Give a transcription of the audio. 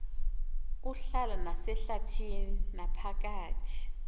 uhlala nasehlabathini naphakathi